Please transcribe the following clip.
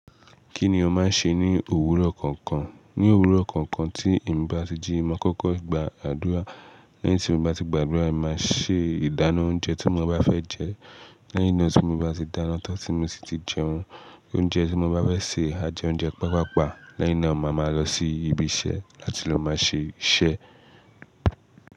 Kí ni o máa ń ṣe ní òwúrọ̀ kọ̀ọ̀kan? Ní òwúrọ̀ kọ̀ọ̀kan tí èmi bá ti jí, màá kọ́kọ́ gba àdúrà. Lẹ́yìn tí mo bá ti gbàdúrà, èmi máa ṣe ìdáná oúnjẹ tí mo bá fẹ́ jẹ. Lẹ́yìn náà tí mo bá ti dáná tán tí mo sì ti jẹun, oúnjẹ tí mo bá fẹ́ sè, a jẹ oúnjẹ pápàpá. Lẹ́yìn náà, màá máa lọ sí ibi iṣẹ́ láti lọ máa ṣe iṣẹ́